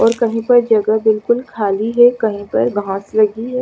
और कहि पर जगह बिलकुल खाली है कहि पर घास में भी--